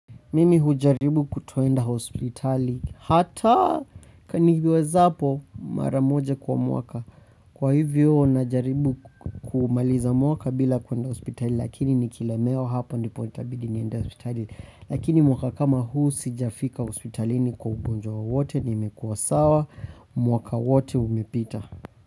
Mimi hujaribu kutoenda hospitali, hata kaniwezapo mara moja kwa mwaka. Kwa hivyo, najaribu kumaliza mwaka bila kuenda hospitali, lakini nikilemewa hapo ndipo itabidi niende hospitali. Lakini mwaka kama huu sijafika hospitalini kwa ugonjwa wowote nimekua sawa, mwaka wote umepita.